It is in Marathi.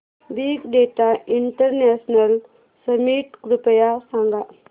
बिग डेटा इंटरनॅशनल समिट कृपया सांगा